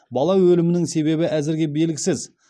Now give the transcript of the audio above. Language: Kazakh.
бала өлімінің себебі әзірге белгісіз